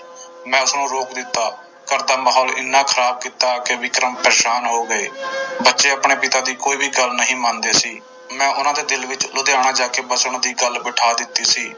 ਮੈਂ ਉਸਨੂੰ ਰੋਕ ਦਿੱਤਾ, ਘਰਦਾ ਮਾਹੌਲ ਇੰਨਾ ਖਰਾਬ ਕੀਤਾ ਕਿ ਵਿਕਰਮ ਪਰੇਸਾਨ ਹੋ ਗਏ ਬੱਚੇ ਆਪਣੇ ਪਿਤਾ ਦੀ ਕੋਈ ਵੀ ਗੱਲ ਨਹੀਂ ਮੰਨਦੇ ਸੀ, ਮੈਂ ਉਹਨਾਂ ਦੇ ਦਿਲ ਵਿੱਚ ਲੁਧਿਆਣਾ ਜਾ ਕੇ ਵਸਣ ਦੀ ਗੱਲ ਬਿਠਾ ਦਿੱਤੀ ਸੀ।